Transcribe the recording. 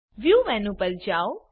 view menu પર જાઓ